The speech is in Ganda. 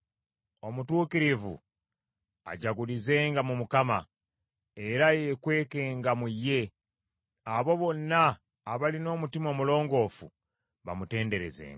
Omutuukirivu ajagulizenga mu Mukama , era yeekwekenga mu ye. Abo bonna abalina omutima omulongoofu bamutenderezenga!